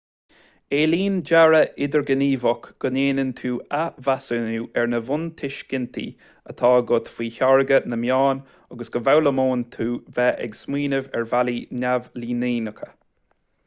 éilíonn dearadh idirghníomhach go ndéanann tú athmheasúnú ar na buntuiscintí atá agat faoi tháirgeadh na meán agus go bhfoghlaimíonn tú beith ag smaoineamh ar bhealaí neamhlíneacha